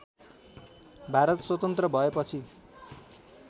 भारत स्वतन्त्र भएपछि